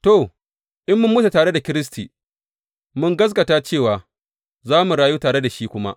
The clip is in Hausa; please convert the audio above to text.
To, in mun mutu tare da Kiristi, mun gaskata cewa za mu rayu tare da shi kuma.